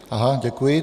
Aha, děkuji.